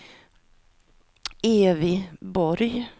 Evy Borg